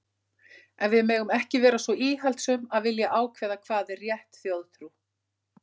En við megum ekki vera svo íhaldssöm að vilja ákveða hvað er rétt þjóðtrú.